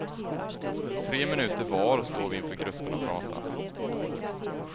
Tre minuter var står vi inför gruppen och pratar.